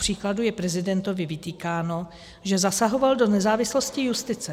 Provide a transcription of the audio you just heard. Kupříkladu je prezidentovi vytýkáno, že zasahoval do nezávislosti justice.